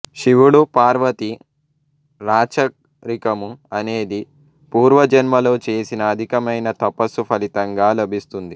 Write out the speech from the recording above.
శివుడు పార్వతీ రాచరికము అనేది పూర్వజన్మలో చేసిన అధికమైన తపస్సు ఫలితంగా లభిస్తుంది